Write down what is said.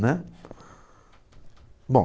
né. Bom...